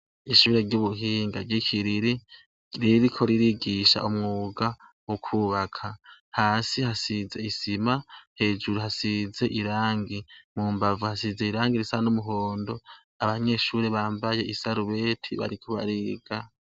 Ishure ry'ubuhinga ry'i Kiriri ririko ririgisha umwuga w'ukubaka. Hasi hasize isima, hejuru hasize irangi, mumbavu hasize irangi risa n'umuhondo, abanyeshure bambaye isarubeti bariko bariga.